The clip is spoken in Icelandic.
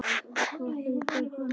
Hvað heitir hann?